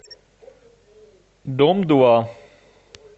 дом два